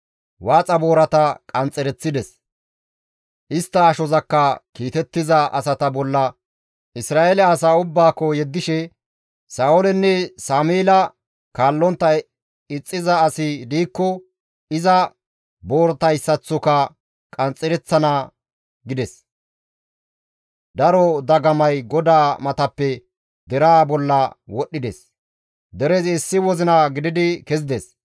Waaxa boorata qanxxereththides; istta ashozakka kiitettiza asata bolla Isra7eele asaa ubbaakko yeddishe, «Sa7oolenne Sameela kaallontta ixxiza asi diikko iza booratayssaththoka qanxxereththana» gides; daro dagamay GODAA matappe deraa bolla wodhdhides; derezi issi wozina gididi kezides.